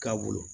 K'a bolo